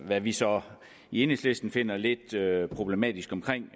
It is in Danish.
hvad vi så i enhedslisten finder lidt problematisk